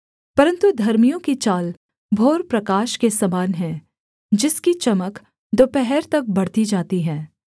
परन्तु धर्मियों की चाल भोरप्रकाश के समान है जिसकी चमक दोपहर तक बढ़ती जाती है